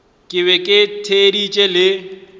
ke be ke theeditše le